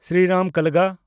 Sriram ᱠᱟᱞᱜᱟ